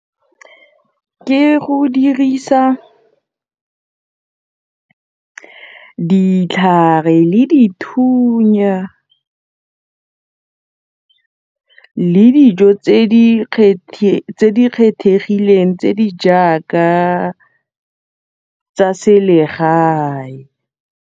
Ke go dirisa ditlhare le dithunya le dijo tse di kgethegileng tse di jaaka tsa selegae.